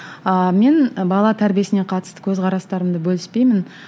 ыыы мен бала тәрбиесіне қатысты көзқарастарымды бөліспеймін